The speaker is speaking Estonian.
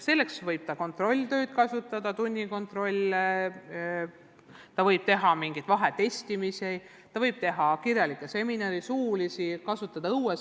Selleks võib ta kasutada kontrolltöid, tunnikontrolle, ta võib teha vahetestimist, kirjalikke seminare ja suulisi ettekandeid, kasutada õuesõpet.